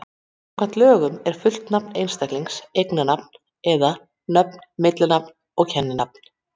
Samkvæmt lögunum er fullt nafn einstaklings eiginnafn eða-nöfn, millinafn og kenninafn.